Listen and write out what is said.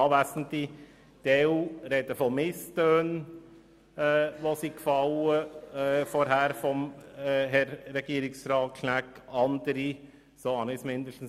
Die einen sprechen von Misstönen, die vorhin seitens von Herrn Regierungsrat Schnegg gefallen sind.